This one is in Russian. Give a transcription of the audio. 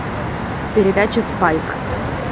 передача спайк